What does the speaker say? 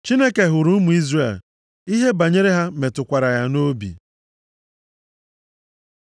Chineke hụrụ ụmụ Izrel, ihe banyere ha metukwara ya nʼobi.